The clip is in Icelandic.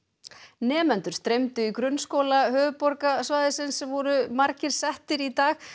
nemendur streymdu í grunnskóla höfuðborgarsvæðisins sem voru margir settir í dag